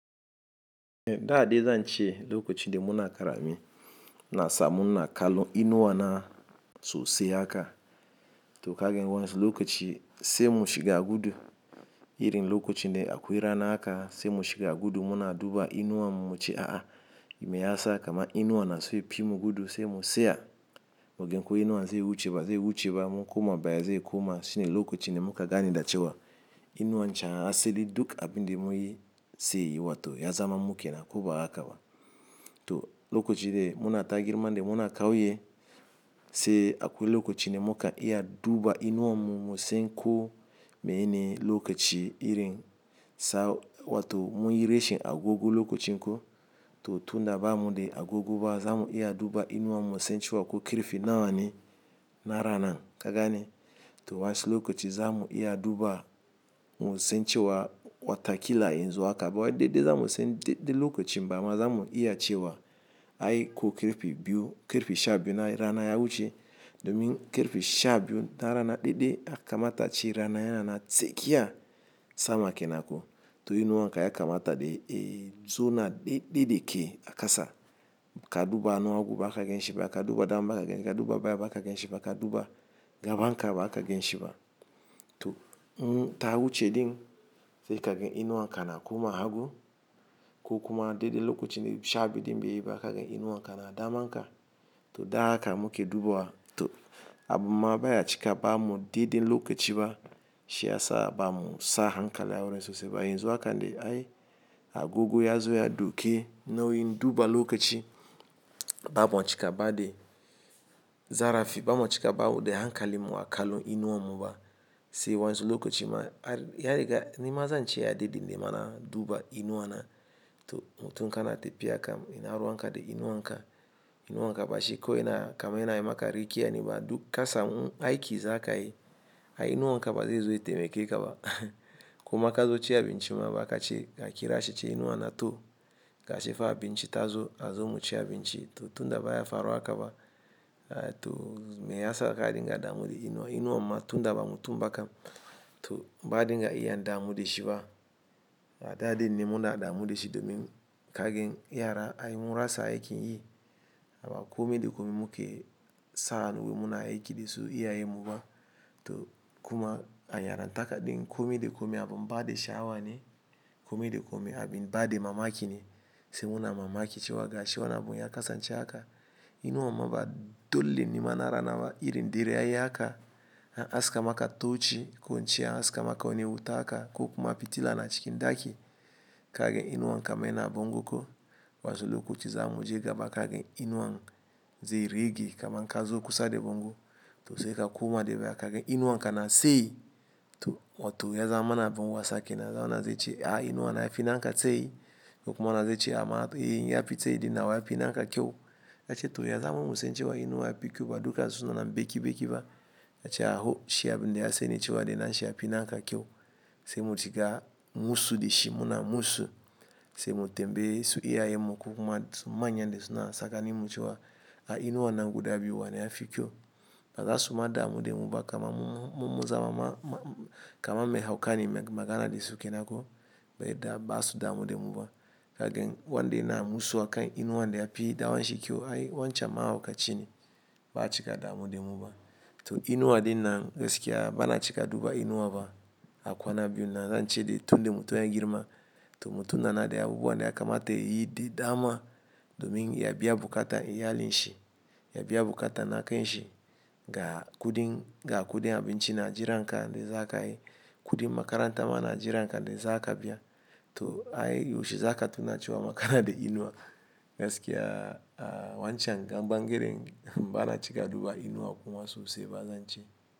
E, da dai zan ce lokacin da muna karami na sa muna ina kallo inuwa na sosai haka. To kagan wayansu lokaci sai mu shiga gudu. Irin lokacin da akwai rana haka sai mu shiga gudu muna duba inuwan mu muce a'a. Me ya sa? Kama inuwan na so ya pi mugudu sai mu tsaya. Mu gan ko inuwan zai wuce ba zai wuce ba, mu koma baya zai koma shine lokacin ne muka gani da cewa inuwan can asali duk abin da muyi sai yi wa to ya zama mukenan ko ba haka ba. To lokacin da muna ta girma da muna kauye sai akwai lokacin da muka iya duba inuwan mu mu san ko mene lokaci irin sa wa to muyi reshin agogo lokacin ko. To tun da ba mu da agogoba za mu iya duba inuwan mu sai ci wa ko karfe nawa ne na rana. Kagane? To wasu lokaci za mu iya duba mu san cewa watakila yanzu haka ba wa dai dai za mu san dai dai lokacin ba ma za mu iya cewa ai ko karfe biyu karfe sha biyu na rana ya wuce. Domin karfe sha biyu na rana dai dai a kamata ce rana yana na tsakiya sama kenan ko. To inuwan ka ya kamata dai eh tsona dai dai dai ke a kasa ka duba anu agu ba ka gan shiba ka duba dama ba kagan ka duba baya ba kagan shiba ka duba gaban ka ba kagan shiba. To mu ta wuce din sai kagan inuwan ka na koma hagu ko kuma dai dai lokacin sha biyu din bai yi ba kagan inuwan ka na daman ka. To da haka muke dubawa. To abin ma baya cika ba mu dai dai lokaci ba. Shi ya sa ba mu sa hankali a wurin sosai ba. Yanzu hakan dai ai agogo ya zo ya dauke nauyin duba lokaci ba mu cika ba dai. Zarafi ba mu cika ba wudai hankali mu a kallo inuwan mu ba. Sai wayansu lokaci ma ai ya riga nima zan ce ya dede nima na duba inuwa na. To mutun kana tafiya kam ina ruwan ka da inuwan ka. Inuwan ka bashi ko ina kama yana yi maka rek'i a nema duk ka samun aiki za ka yi. Ai inuwan ka ba zai zo ya taimake kaba. Kuma ka zo ci abinci ma ba ka ce ka kira shi ce inuwa na to ka shi fa abinci ta zo a zo mu ci abinci. To tun da baya faru haka ba. Ai to me ya sa ka dinga damu da inuwa inuwan ma tun da ba mutumba kam. To ba dinga iya damu da shi ba. Da dai ne muna damu da shi domin kagen yara ai mun rasa aikin yi. Ama kome da kome muke sa hanu muna aiki da su iyayen mu ba. To kuma a yarantaka din kome da kome abin ba dai sha'awa ne. Kome da kome abin ba dai mamaki ne. Sai muna mamaki cewa ga shi wana abun ya kasance haka. Inuwan ma ba dole ne ma na rana ba irin dare ya yi haka. An aska maka toci ko in ce an aska maka wane wuta haka ko kuma fitila na cikin ɗaki. Kagan inuwan kama ya na a bongo ko. Wasu lokaci za mu je gaba kagan inuwan zai rige kaman ka zo kusa da bongo. To sai ka koma da baya kagan inuwan ka na tsayi. To wa to ya zama mana abun wasa kenan zama na zai ce ai inuwa na ya fi na ka tsayi. Kokuma na zai ce ama ai ya fi tsayi din nawa ya fi na ka kyau. A ce to ya zama mu sai cewa inuwa ya fi kyau ba duka sunanan beki beki ba. A ce aho shi abin da sani cewa dai na shi ya fi na ka kyau. Sai mu shiga musu da shi muna musu. Sai mu tambayi su iyayin mu ko kuma su manyan dai suna sakani mu cewa ai inuwan nan guda biyu wa na ya fi kyau. Ba za su ma damu da mu ba kama mu mu zama ma kama me haukane magana dai sukenan ko. Ba yada da ba su damu da mu ba. Kagan wanda yana musu akan inuwan dai ya fi danwa shi kyau ai wancan mahaukaci ne ba a cika damu da mu ba. To inuwa din na gaskiya ba na cika duba inuwa ba. Akwana biyu na zan ce dai tun da mutum ya yi girma to mutum na na dai abubuwan da ya kamata ya yi dai dama domin ya biya bukata iyalin shi. Ya biya bukata na kan shi ga kudin ga kudin abinci na jiran ka dai za ka yi. Kudin makaranta ma na jiran ka da za ka biya. To ai yaushe za ka tuna cewa ma kana da inuwa. Gaskiya a wancan gan bangaren ba na cika duba inuwa kuma sosai ba zan ce.